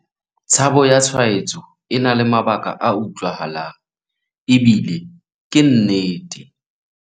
Tshabo ya tshwaetso e na le mabaka a utlwahalang ebile ke nnete.